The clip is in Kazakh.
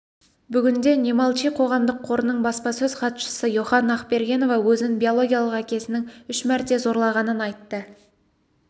бүгінде не молчи қоғамдық қорының баспасөз хатшысы йоханна ақбергенова өзін биологиялық әкесінің үш мәрте зорлағанын айтты